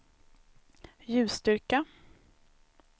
ljusstyrka